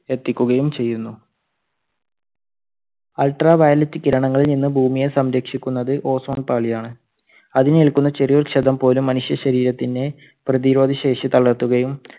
എത്തിക്കുകയും ചെയ്യുന്നു. ultra violet കിരണങ്ങളിൽ നിന്നും ഭൂമിയെ സംരക്ഷിക്കുന്നത് ozone പാളിയാണ്, അതിനേൽക്കുന്ന ചെറിയ ക്ഷതം പോലും മനുഷ്യശരീരത്തിന്റെ പ്രതിരോധ ശേഷി തളർത്തുകയും